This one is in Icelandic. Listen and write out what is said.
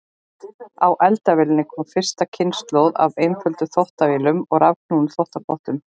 Á eftir eldavélinni kom fyrsta kynslóð af einföldum þvottavélum og rafknúnum þvottapottum.